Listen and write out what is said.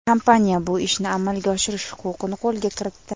Kompaniya bu ishni amalga oshirish huquqini qo‘lga kiritdi.